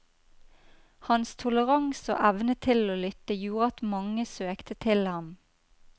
Hans toleranse og evne til å lytte gjorde at mange søkte til ham.